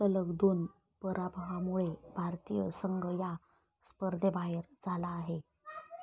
सलग दोन पराभवामुळे भारतीय संघ या स्पर्धेबाहेर झाला आहे.